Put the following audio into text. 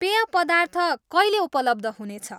पेय पदार्थ कहिले उपलब्ध हुनेछ?